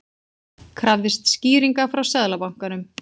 Krafðist skýringa frá Seðlabankanum